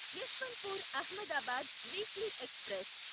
Yesvantpur Ahmedabad weekly express